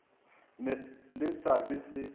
na le se ba se